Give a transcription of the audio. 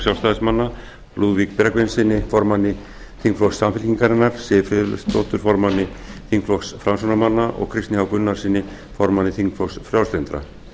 sjálfstæðismanna lúðvíki bergvinssyni formanni þingflokks samfylkingarinnar siv friðleifsdóttur formanni þingflokks framsóknarmanna og kristni h gunnarssyni formanni þingflokks frjálslyndra